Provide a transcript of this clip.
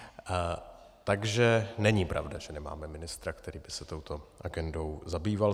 Takže není pravda, že nemáme ministra, který by se touto agendou zabýval.